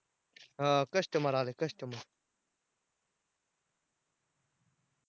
हां customer आलंय customer